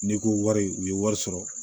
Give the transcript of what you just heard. N'i ko wari u ye wari sɔrɔ